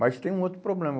Mas tem um outro problema.